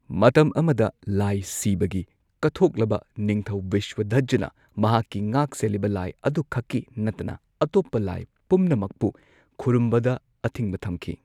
ꯃꯇꯝ ꯑꯃꯗ ꯂꯥꯏ ꯁꯤꯚꯒꯤ ꯀꯠꯊꯣꯛꯂꯕ ꯅꯤꯡꯊꯧ ꯕ꯭ꯔꯤꯁꯥꯙ꯭ꯋꯖꯥꯅ, ꯃꯍꯥꯛꯀꯤ ꯉꯥꯛꯁꯦꯜꯂꯤꯕ ꯂꯥꯏ ꯑꯗꯨꯈꯛꯀꯤ ꯅꯠꯇꯅ ꯑꯇꯣꯞꯄ ꯂꯥꯏ ꯄꯨꯝꯅꯃꯛꯄꯨ ꯈꯨꯔꯨꯝꯕꯗ ꯑꯊꯤꯡꯕ ꯊꯝꯈꯤ꯫